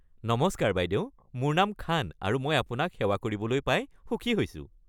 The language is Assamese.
নমস্কাৰ বাইদেউ, মোৰ নাম খান আৰু মই আপোনাক সেৱা কৰিবলৈ পাই সুখী হৈছোঁ।